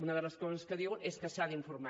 una de les coses que diu és que s’ha d’informar